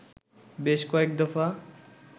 বেশ কয়েক দফা